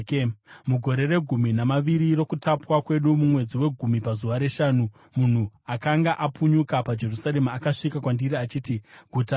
Mugore regumi namaviri rokutapwa kwedu, mumwedzi wegumi pazuva reshanu, munhu akanga apunyuka paJerusarema akasvika kwandiri achiti, “Guta rawa!”